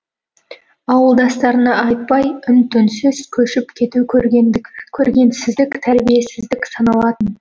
ауылдастарына айтпай үн түнсіз көшіп кету көргенсіздік тәрбиесіздік саналатын